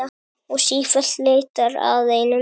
Og sífellt leitar að einum.